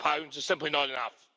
is simply not enough.